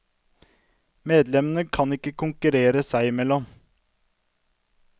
Medlemmene skal ikke konkurrere seg imellom.